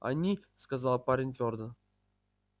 они сказал парень твёрдо